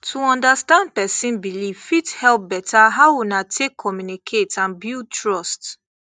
to understand person belief fit help better how una take communicate and build trust